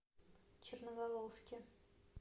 черноголовки